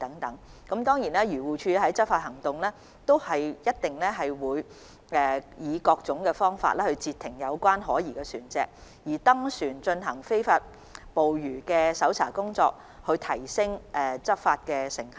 當然，漁護署在執法時會以各種方法截停可疑船隻，例如登船進行非法捕魚的搜查工作來提升執法成效。